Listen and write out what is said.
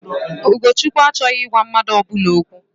Ụkọchukwu achọghị ịgwa mmadụ ọbụla okwu.